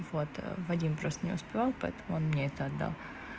вот вадим просто не успевал поэтому он мне это отдал